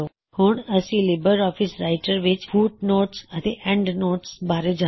ਹੁਣਅਸੀ LibreOffice Writer ਵਿੱਚ footnotes ਅਤੇ endnotes ਬਾਰੇਜਾਨਾਂਗੇ